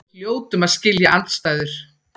Við hljótum að skilja andstæður.